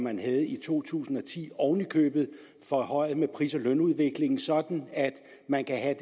man havde i to tusind og ti oven i købet forhøjet med pris og lønudviklingen sådan at man kan have